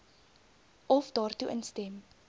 of daartoe instem